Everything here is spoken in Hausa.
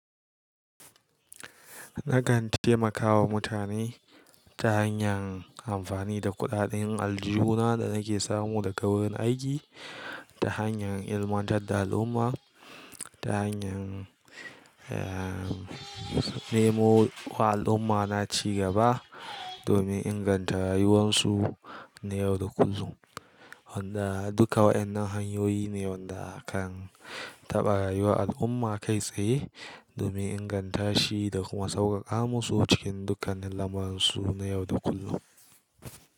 Na kan taimakawa mutane ta hanyar amfani da kuɗaɗen aljuhu na da nake samu daga wurin aiki ta hanyar ilmantar da al'umma, ta hanyar, eh, nemo wa al'umma naci gaba domin inganta rayuwarsu na yau da kullum. Wanda duka waɗannan hanyoyi ne wanda kan taɓa rayuwar al'umma kai tsaye domin inganta shi da kuma sauƙaƙa musu cikin dukkan lamuransu na yau da kullum.